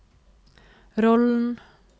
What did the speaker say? rollen